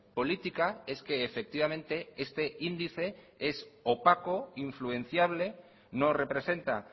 política es que efectivamente este índice es opaco influenciable no representa